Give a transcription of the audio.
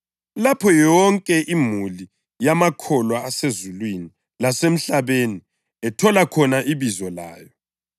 lapho yonke imuli yamakholwa asezulwini lasemhlabeni ethola khona ibizo layo.